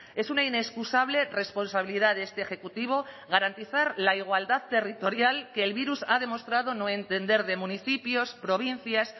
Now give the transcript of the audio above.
es una inexcusable responsabilidad de este ejecutivo garantizar la igualdad territorial que el virus ha demostrado no entender de municipios provincias